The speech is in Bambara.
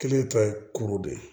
Kelen ta ye kuru de ye